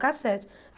Cassete.